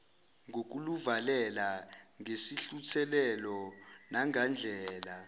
ngokuluvalela ngesihluthulelo nangandlela